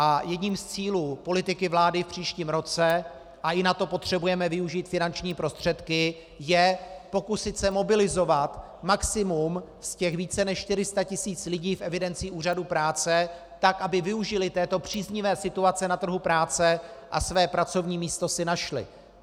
A jedním z cílů politiky vlády v příštím roce, a i na to potřebujeme využít finanční prostředky, je pokusit se mobilizovat maximum z těch více než 400 tis. lidí v evidenci úřadů práce tak, aby využili této příznivé situace na trhu práce a své pracovní místo si našli.